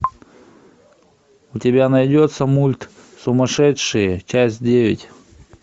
у тебя найдется мульт сумасшедшие часть девять